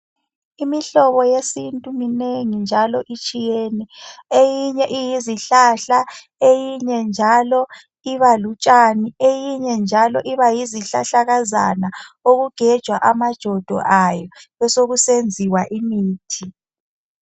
Imihlobo yesintu minengi njalo itshiyene. Eyinye iyizihlahla, eyinye njalo iba lutshani, eyinye njalo iba yizihlahlakazana, okugejwa amajodo ayo besekusenziwa imithi.